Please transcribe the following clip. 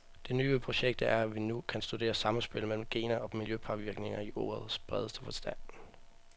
Det nye ved projektet er, at vi nu kan studere samspillet mellem gener og miljøpåvirkninger i ordets bredeste forstand.